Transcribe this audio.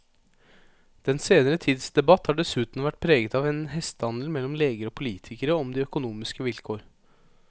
Den senere tids debatt har dessuten vært preget av en hestehandel mellom leger og politikere om de økonomiske vilkår.